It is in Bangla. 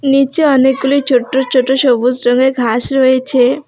নীচে অনেকগুলি ছোট্ট ছোট্ট সবুজ রঙের ঘাস রয়েছে।